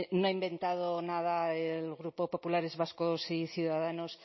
no ha inventado nada el grupo populares vascos y ciudadanos